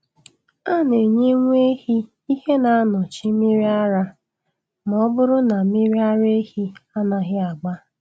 A na-enye nwa ehi ihe na-anọchi mmiri ara ma ọ bụrụ na mmiri ara ehi anaghị agba